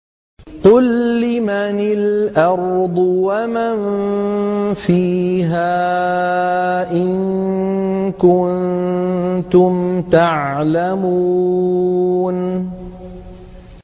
قُل لِّمَنِ الْأَرْضُ وَمَن فِيهَا إِن كُنتُمْ تَعْلَمُونَ